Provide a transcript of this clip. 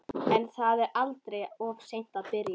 En það er aldrei of seint að byrja.